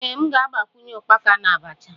Ee, m ga-agbakwunye ukpaka na abacha